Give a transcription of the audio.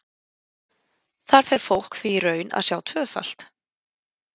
Þar fer fólk því í raun að sjá tvöfalt.